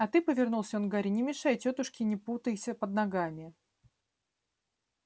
а ты повернулся он к гарри не мешай тётушке не путайся под ногами